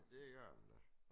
Det gør den da